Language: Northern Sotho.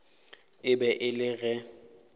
e be e le ge